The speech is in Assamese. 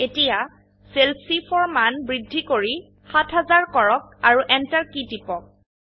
এতিয়া সেল চি4 এৰ মান বৃদ্ধি কৰি ৭০০০ কৰক আৰু এন্টাৰ কী টিপক